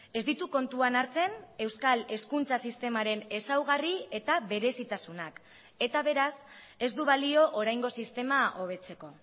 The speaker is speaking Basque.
ez ditu kontuan hartzen euskal hezkuntza sistemaren ezaugarri eta berezitasunak eta beraz ez du balio oraingo sistema hobetzeko